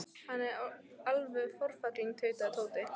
Hann er alveg forfallinn tautaði Tóti.